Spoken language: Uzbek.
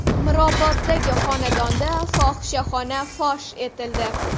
Miroboddagi xonadonda fohishaxona fosh etildi.